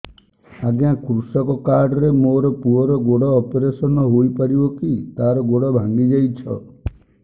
ଅଜ୍ଞା କୃଷକ କାର୍ଡ ରେ ମୋର ପୁଅର ଗୋଡ ଅପେରସନ ହୋଇପାରିବ କି ତାର ଗୋଡ ଭାଙ୍ଗି ଯାଇଛ